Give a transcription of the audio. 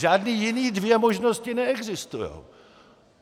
Žádný jiný dvě možnosti neexistujou!